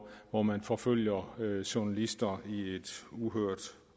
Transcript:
hvor man forfølger journalister i et uhørt